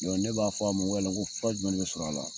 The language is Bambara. O la ne b'a fɔ a ma n ko fura jumɛn de bɛ sɔrɔ a la?